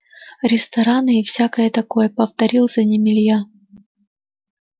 рестораны и всякое такое повторил за ним илья